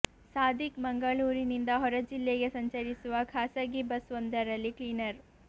ಸಾದಿಕ್ ಮಂಗಳೂರಿನಿಂದ ಹೊರ ಜಿಲ್ಲೆಗೆ ಸಂಚರಿಸುವ ಖಾಸಗಿ ಬಸ್ ಒಂದರಲ್ಲಿ ಕ್ಲೀನರ್